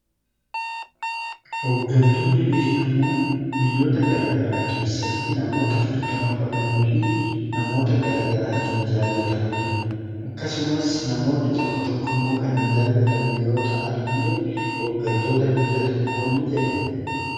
Hoggantoonni beekamoon biyyoota garaa garaa keessatti namoota fudhatama qabanii fi namoota garaa garaatiin jaallatamaniidha. akkasumas namoonni tokko tokko immoo kan hin jaallatamne yoo ta'an illee hooggantoota biyya tokkoonii jedhamu.